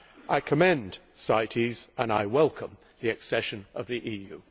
I commend CITES and I welcome the accession of the EU.